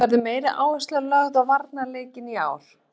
Verður meiri áhersla lögð á varnarleikinn í ár?